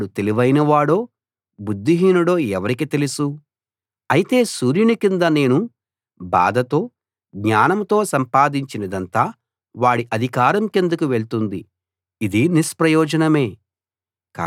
వాడు తెలివైనవాడో బుద్ధిహీనుడో ఎవరికి తెలుసు అయితే సూర్యుని కింద నేను బాధతో జ్ఞానంతో సంపాదించినదంతా వాడి అధికారం కిందకు వెళ్తుంది ఇదీ నిష్ప్రయోజనమే